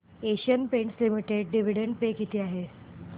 Asian Paints Limited dividend pay किती आहे